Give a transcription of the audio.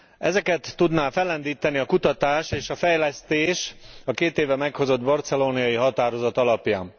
Ezeket tudná fellendíteni a kutatás és a fejlesztés a két éve meghozott barcelonai határozat alapján.